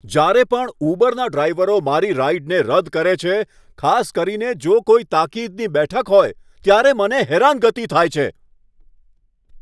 જ્યારે પણ ઉબરના ડ્રાઇવરો મારી રાઇડને રદ કરે છે, ખાસ કરીને જો કોઈ તાકીદની બેઠક હોય ત્યારે, મને હેરાનગતિ થાય છે.